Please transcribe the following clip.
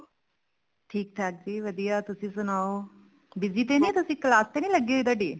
ਠੀਕ ਠਾਕ ਜੀ ਵਧੀਆ ਤੁਸੀਂ ਸਨਾਓ busy ਤਾਂ ਨੀ ਤੁਸੀਂ class ਤਾਂ ਨੀ ਲੱਗੀ ਹੋਈ ਤੁਹਾਡੀ